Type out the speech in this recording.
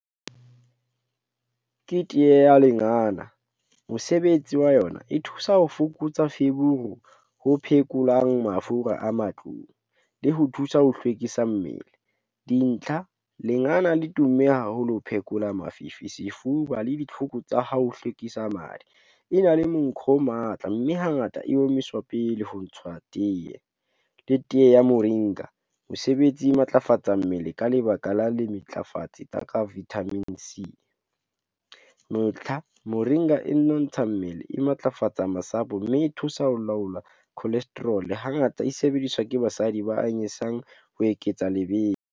Ke teye ya lengana, Mosebetsi wa yona e thusa ho fokotsa feberu, ho phekolang mafura a matlung, le ho thusa ho hlwekisa mmele, dintlha lengana le tumme haholo ho phekola mafifi, sefuba, le ditlhoko tsa ha o hlwekisa madi. E na le monko o matla, mme hangata e omiswa pele ho ntshwa teye, le tee ya moringa, mesebetsi e matlafatsa mmele, ka lebaka la le tsa ka vitamin C. Ntlha, moringa e nontsha mmele, e matlafatsa masapo, mme e thusa ho laola cholesterol, hangata e sebediswa ke basadi ba anyisang ho eketsa lebese.